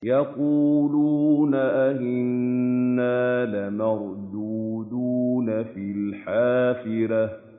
يَقُولُونَ أَإِنَّا لَمَرْدُودُونَ فِي الْحَافِرَةِ